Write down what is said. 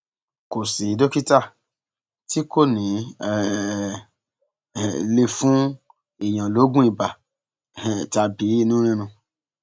kò sì dókítà tí kò ní í um lè fún èèyàn lóògùn ibà um tàbí inú rírun